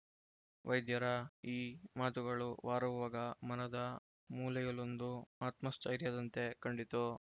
ವೈದ್ಯರ ಈ ಮಾತುಗಳು ವಾರವ್ವಗ ಮನದ ಮೂಲೆಯಲೊಂದು ಆತ್ಮಸ್ಥೈರ್ಯದಂತೆ ಕಂಡಿತು